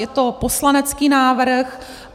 Je to poslanecký návrh.